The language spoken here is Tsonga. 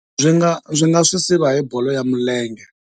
Ndzi nga ndzi nga swi siva hi bolo ya milenge.